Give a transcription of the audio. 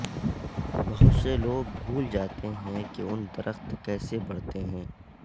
بہت سے لوگ بھول جاتے ہیں کہ ان درخت کیسے بڑھتے ہیں